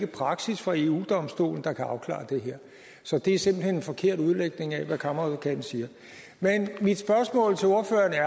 praksis fra eu domstolen der kan afklare det her så det er simpelt hen en forkert udlægning af hvad kammeradvokaten siger men mit spørgsmål til ordføreren er